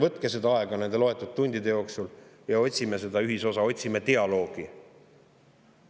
Mõelge, võtke aega nende loetud tundide jooksul ja otsime ühisosa, otsime dialoogi!